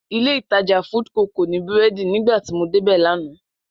Ilé-ìtajà Foodco kò ní búrẹ́dì nígbà tí mo débẹ̀ lánàá